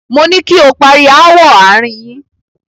Moní kí o pari ááwọ̀ àárín yín!